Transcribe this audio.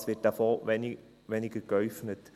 dadurch wird der Fonds weniger geäufnet.